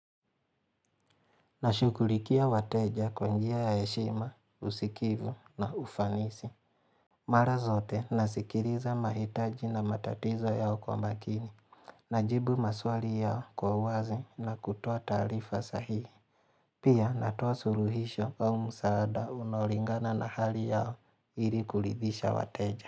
Nashugulikia wateja kwa njia ya heshima, usikivu na ufanisi. Mara zote nasikiriza mahitaji na matatizo yao kwa makini. Najibu maswali yao kwa uwazi na kutoa talifa sahihi. Pia natowa suruhisho au musaada unaolingana na hali yao ili kulidhisha wateja.